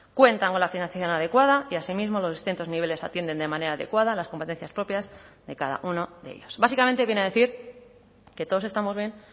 cuentan con la financiación adecuada y asimismo los distintos niveles atienden de manera adecuada a las competencias propias de cada uno de ellos básicamente viene a decir que todos estamos bien